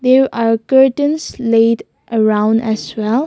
there are curtains laid around as well.